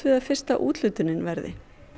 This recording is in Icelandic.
að fyrsta úthlutunin verði